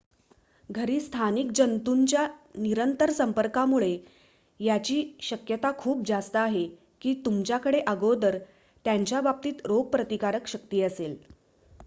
घरी स्थानिक जंतूंच्या निरंतर संपर्कामुळे याची शक्यता खूप जास्त आहे की तुमच्याकडे अगोदर त्यांच्या बाबतीत रोगप्रतिकारक शक्ती असेल